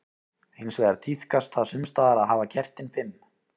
Hins vegar tíðkast það sums staðar að hafa kertin fimm.